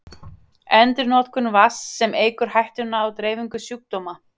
Endurnotkun vatns, sem eykur hættuna á dreifingu sjúkdóma.